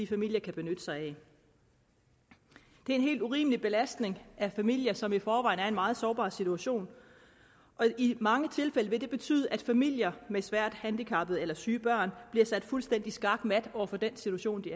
familier kan benytte sig af det er en helt urimelig belastning af familier som i forvejen er i en meget sårbar situation og i mange tilfælde vil det betyde at familier med svært handicappede eller syge børn bliver sat fuldstændig skakmat over for den situation de